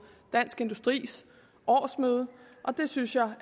dansk industris årsmøde og det synes jeg